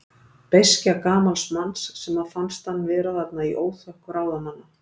Beiskja gamals manns, sem fannst hann vera þarna í óþökk ráðamanna.